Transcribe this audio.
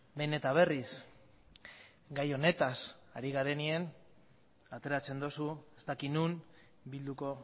behin eta berriz gai honetaz ari garenean ateratzen duzu ez dakit non bilduko